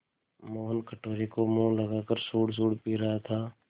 मोहन कटोरे को मुँह लगाकर सुड़सुड़ पी रहा था